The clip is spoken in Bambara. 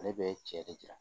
Ale bɛ cɛ de jira